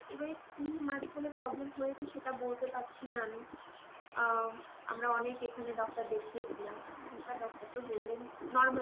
এবারে কি মাঝখানে problem হয়েছে সেটা বলতে পারছি না আমি অ্যাঁ আমরা অনেক এখানে doctor দেখিয়েছিলাম এখানকার doctor তো বললেন normal